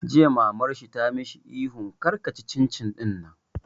Jiya Maman shi ta yi mishi ihu 'kar ka ci cin cin ɗinnan!